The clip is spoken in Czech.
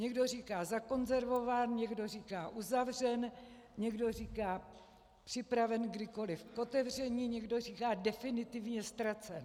Někdo říká zakonzervován, někdo říká uzavřen, někdo říká připraven kdykoliv k otevření, někdo říká definitivně ztracen.